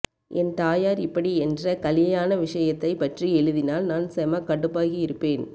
என் தாயார் இப்படி என்ர கலியாண விசயத்தை பற்றி எழுதினால் நான் செம்ம கடுப்பாகி இருப்பேன்